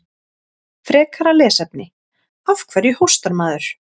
Frekara lesefni: Af hverju hóstar maður?